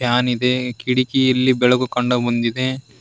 PAN ಇದೆ ಕಿಟಕಿಯಲ್ಲಿ ಬೆಳಕು ಕಂಡ ಮುಂದಿದೆ.